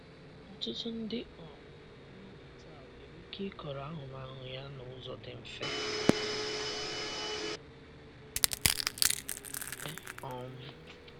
Ọtụtụ ndị um mmadụ taa nwere ike ịkọrọ ahụmahụ ya n'ụzọ dị mfe. um dị mfe. um